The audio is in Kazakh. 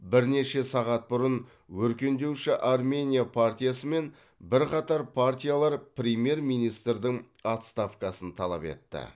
бірнеше сағат бұрын өркендеуші армения партиясы мен бірқатар партиялар премьер министрдің отставкасын талап етті